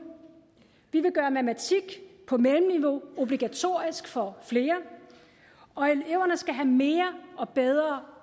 vi vil gøre matematik på mellemniveau obligatorisk for flere og eleverne skal have mere og bedre